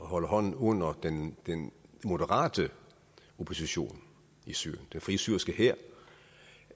holder hånden under den moderate opposition i syrien den frie syriske hær